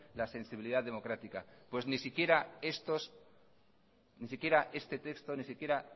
la sensibilidad democrática pues ni siquiera estos ni siquiera este texto ni siquiera